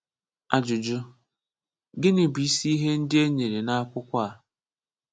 Ajụjụ: Gịnị bụ isi ihe ndị e nyere n’akwụkwọ a?